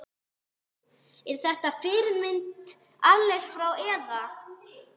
Er þetta fyrirmynd erlendis frá eða?